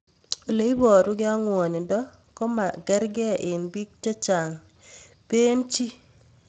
ole parukei ak ng'wanindo ko makarg'ei eng' piik chechang' pee chii